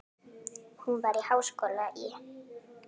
Hún var í háskóla í